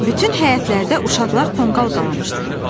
Bütün həyətlərdə uşaqlar tonqal qalamışdılar.